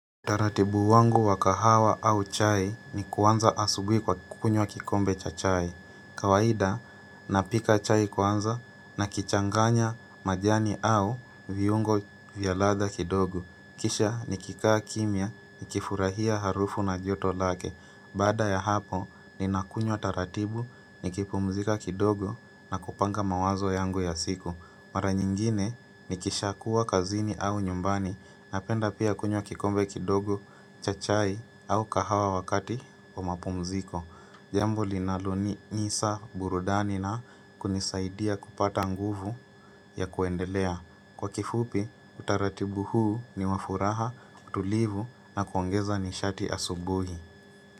Utaratibu wangu wa kahawa au chai ni kuanza asubuhi kwa kukunywa kikombe cha chai. Kawaida, napika chai kwanza na kuchanganya majani au viungo vya ladha kidogo. Kisha nikikaa kimya nikifurahia harufu na joto lake. Baada ya hapo, ninakunywa taratibu nikipumzika kidogo na kupanga mawazo yangu ya siku. Mara nyingine nikishakuwa kazini au nyumbani napenda pia kunywa kikombe kidogo cha chai au kahawa wakati wa mapumziko. Jambo linalonipa burudani na kunisaidia kupata nguvu ya kuendelea. Kwa kifupi utaratibu huu ni wa furaha, utulivu na kuongeza nishati asubuhi.